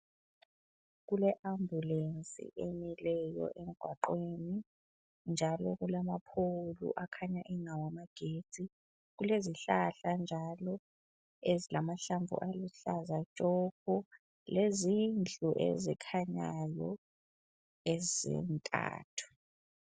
Kule ambulesi emileyo emgwaqweni njalo kulamaphowulu akhanya engawamagetsi kulezihlahla njalo ezilamahlamvu aluhlaza tshoko lezindlu ezikhanyayo ezintathu.